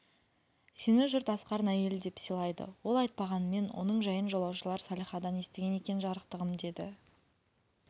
сені жұрт асқардың әйелі деп сыйлайды ол айтпағанмен оның жайын жолаушылар салихадан естіген екен жарықтығым деді